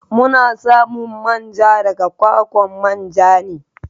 Muna samun manja daga kwakwan manja ne.